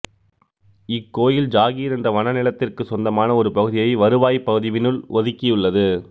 இக்கோயில் ஜாகீர் என்ற வன நிலத்திற்குச் சொந்தமான ஒரு பகுதியை வருவாய்ப்பதிவினுள் ஒதுக்கியுள்ளது